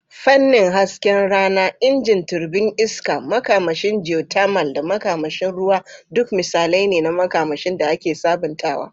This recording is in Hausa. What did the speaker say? Fannin hasken rana, injin turbin iska, makamashin geothermal, da makamashin ruwa duk misalai ne na makamashin da ake sabuntawa.